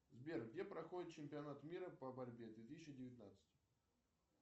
сбер где проходит чемпионат мира по борьбе две тысячи девятнадцать